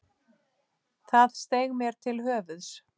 Það steig mér til höfuðs.